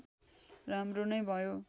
राम्रो नै भयो